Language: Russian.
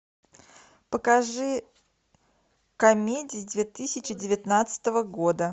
покажи комедии две тысячи девятнадцатого года